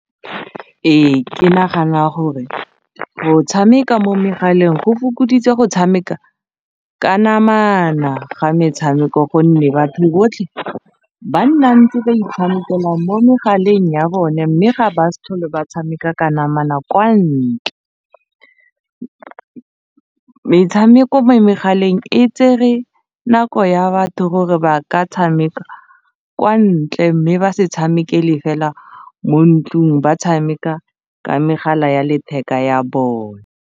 Ee ke nagana gore go tshameka mo megaleng go fokoditse go tshameka ka namana ga metshameko gonne batho botlhe ba nna ntse ba itshamekela mo megaleng ya bone mme ga ba sa tlhole ba tshameka ka namana kwa ntle, metshameko mo megaleng e tsere nako ya batho gore ba ka tshameka kwa ntle mme ba se tshameke le fela mo ntlong ba tshameka ka megala ya letheka ya bone.